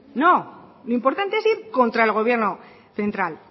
no lo importante es ir contra el gobierno central